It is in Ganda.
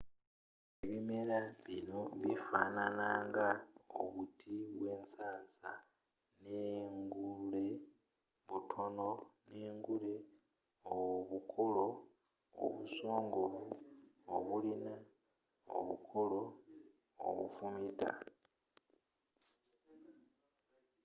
ebimera bino bifanana nga obuti bwensansa n'enguleobutono n'engule y'obukoola obusongovu obulina obukoola obufumita